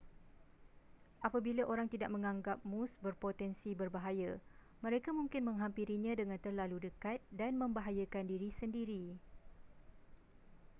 apabila orang tidak menganggap moose berpotensi berbahaya mereka mungkin menghampirinya dengan terlalu dekat dan membahayakan diri sendiri